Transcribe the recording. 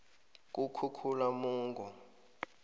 kukhukhulamungu